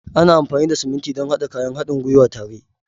Ana amfani da siminti don haɗa kayan haɗin gwiwa tare